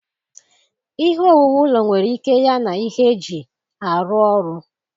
Ihe owuwu ụlọ nwere ike ya na ihe eji arụ ọrụ.